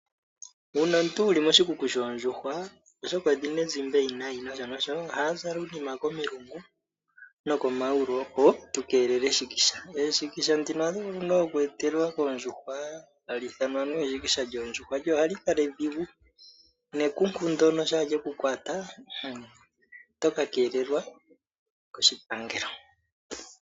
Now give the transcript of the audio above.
Uuna omuntu wuli moshikuku shondjuhwa, oshoka odhina ezimba ewinayi noshonosho aantu ohya zala uunima komilungu nokomayulu opo tu keelele eshikisha, eshikisha ndino ohali vulu oku etelelwa kondjuhwa hali ithanwa anuwa eshikisha lyoondjuhwa, lyo ohali kala edhigu nekunku ndyono shampa lyeku kwata otoka keelelwa koshipangelo.